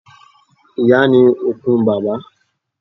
Ìyá ni okun bàbá.